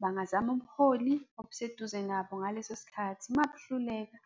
Bangazama ubuholi obuseduze nabo ngaleso sikhathi. Uma buhluleka,